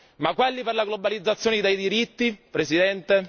Ma quelli per la globalizzazione dei diritti, Presidente?